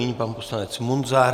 Nyní pan poslanec Munzar.